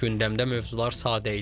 Gündəmdə mövzular sadə idi.